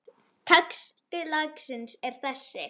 Texti lagsins er þessi